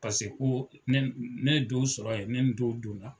Paseko ne ye dɔw sɔrɔ yen, ne ni dɔw donna.